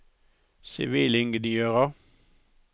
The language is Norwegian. sivilingeniører